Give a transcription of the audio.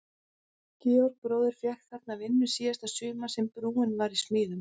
Georg bróðir fékk þarna vinnu síðasta sumarið sem brúin var í smíðum.